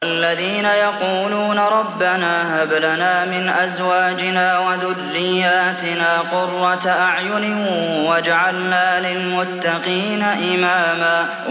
وَالَّذِينَ يَقُولُونَ رَبَّنَا هَبْ لَنَا مِنْ أَزْوَاجِنَا وَذُرِّيَّاتِنَا قُرَّةَ أَعْيُنٍ وَاجْعَلْنَا لِلْمُتَّقِينَ إِمَامًا